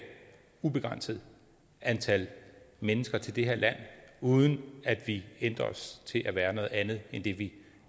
ubegrænset antal mennesker til det her land uden at vi ændrer os til at være noget andet end det vi